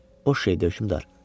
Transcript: O şeydə hökmdar.